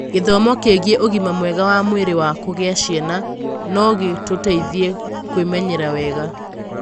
Gĩthomo kĩgiĩ ũgima mwega wa mwĩrĩ wa kũgĩa ciana no gĩgũteithie kwĩmenyerera wega.